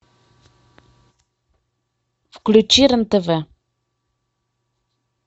включи рен тв